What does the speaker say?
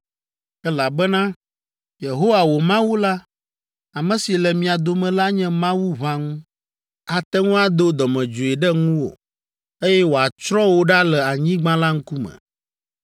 elabena Yehowa, wò Mawu la, ame si le mia dome la nye Mawu ʋãŋu; ate ŋu ado dɔmedzoe ɖe ŋuwò, eye wòatsrɔ̃ wò ɖa le anyigba la ŋkume.